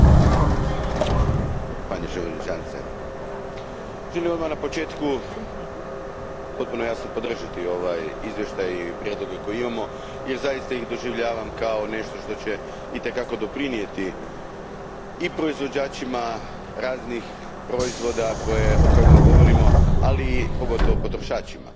Poštovani predsjedniče, želio bih odmah na početku potpuno jasno podržati ovaj izvještaj i prijedloge koje imamo jer zaista ih doživljavam kao nešto što će itekako doprinijeti i proizvođačima raznih proizvoda o kojima govorimo, ali pogotovo potrošačima.